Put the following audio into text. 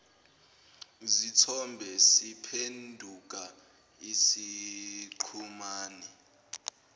zithombe siphenduka isiqhumane